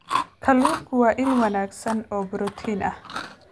Kalluunku waa il wanaagsan oo borotiin ah.